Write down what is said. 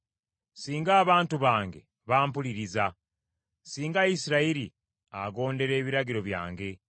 “Singa abantu bange bampuliriza; singa Isirayiri agondera ebiragiro byange,